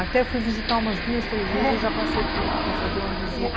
Até fui visitar umas duas, três é... vezes e já passei por lá para fazer uma visita.